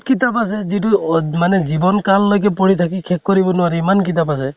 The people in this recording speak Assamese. কিতাপ আছে যিটো অত মানে জীৱ্ন কাল লৈকে পঢ়ি থাকি শেষ কৰিব নোৱাৰে । ইমান কিতাপ আছে ।